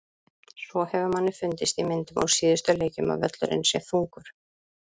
Svo hefur manni fundist í myndum úr síðustu leikjum að völlurinn sé þungur.